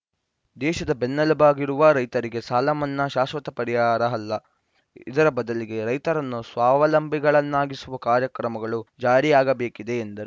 ದೇಶದ ಬೆನ್ನೆಲುಬಾಗಿರುವ ರೈತರಿಗೆ ಸಾಲಮನ್ನಾ ಶಾಶ್ವತ ಪರಿಹಾರ ಅಲ್ಲ ಇದರ ಬದಲಿಗೆ ರೈತರನ್ನು ಸ್ವಾಲಂಬಿಗಳನ್ನಾಗಿಸುವ ಕಾರ್ಯಕ್ರಮಗಳು ಜಾರಿಯಾಗಬೇಕಿದೆ ಎಂದರು